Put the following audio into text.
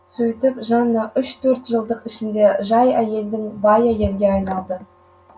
сөйтіп жанна үш төрт жылдық ішінде жай әйелдің бай әйелге айналады